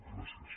gràcies